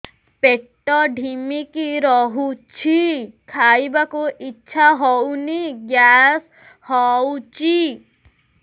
ପେଟ ଢିମିକି ରହୁଛି ଖାଇବାକୁ ଇଛା ହଉନି ଗ୍ୟାସ ହଉଚି